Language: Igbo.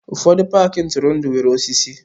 Ụfọdụ paaki ntụrụndụ nwere osisi.